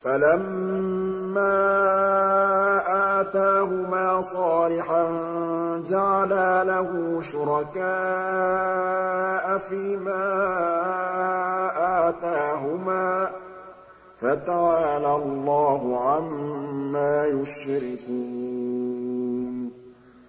فَلَمَّا آتَاهُمَا صَالِحًا جَعَلَا لَهُ شُرَكَاءَ فِيمَا آتَاهُمَا ۚ فَتَعَالَى اللَّهُ عَمَّا يُشْرِكُونَ